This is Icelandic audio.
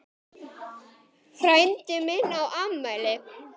Frændi minn á afmæli.